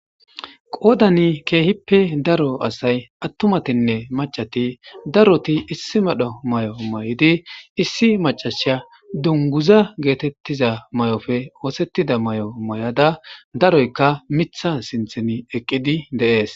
Qoodani keehippe daro asay attumatinne macati daroti issi madho may'o may'idi issi macashya dunguza geetettiza may'ofe oosettida may'o may'ada daroyka mitha sinthen eqqidi deees.